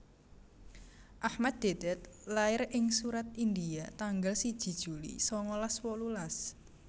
Ahmad Deedat lair ing Surat India tanggal siji juli sangalas wolulas